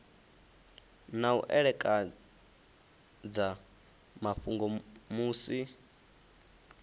na u ekedza mafhungo musi